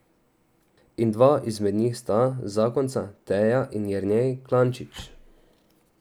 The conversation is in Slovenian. In dva izmed njih sta zakonca Teja in Jernej Klančič.